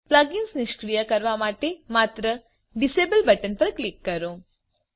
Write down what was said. plugins નિષ્ક્રિય કરવા માટે માત્ર ડિઝેબલ બટન પર ક્લિક કરો